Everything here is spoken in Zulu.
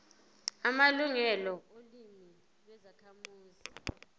amalungelo olimi lwezakhamuzi